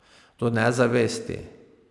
Do nezavesti.